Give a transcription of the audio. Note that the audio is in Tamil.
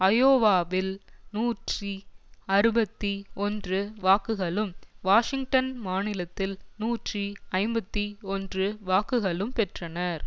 ஐயோவாவில் நூற்றி அறுபத்தி ஒன்று வாக்குகளும் வாஷிங்டன் மாநிலத்தில் நூற்றி ஐம்பத்தி ஒன்று வாக்குகளும் பெற்றனர்